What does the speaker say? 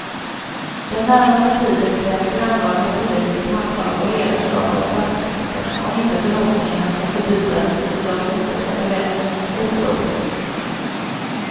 Den närmaste tiden kräver grannlaga politiskt handlag och ledarskap av statsministern om inte förhoppningarna ska förbytas i de inställda förväntningarnas uppror.